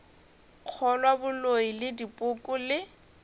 kgolwa boloi le dipoko le